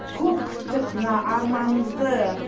көп күттік мына арманызды